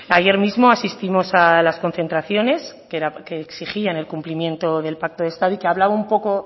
ayer mismo asistimos a las concentraciones que exigían el cumplimiento del pacto de estado y que hablaba un poco